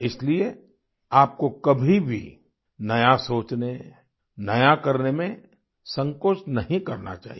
इसलिए आपको कभी भी नया सोचने नया करने में संकोच नहीं करना चाहिए